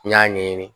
N y'a ɲɛɲini